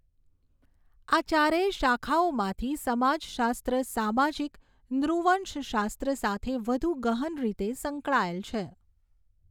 આ ચારેય શાખાઓમાંથી સમાજશાસ્ત્ર સામાજિક નૃવંશશાસ્ત્ર સાથે વધુ ગહન રીતે સંકળાયેલ છે.